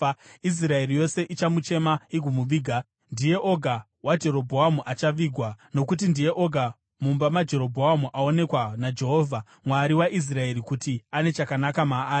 Israeri yose ichamuchema igomuviga. Ndiye oga waJerobhoamu achavigwa, nokuti ndiye oga mumba maJerobhoamu aonekwa naJehovha, Mwari waIsraeri, kuti ane chakanaka maari.